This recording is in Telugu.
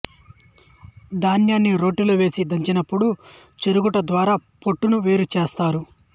ధాన్యాన్ని రోటిలో వేసి దంచినప్పుడు చెరుగుట ద్వారా పొట్టును వేరు చేస్తారు